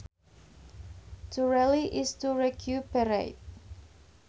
To rally is to recuperate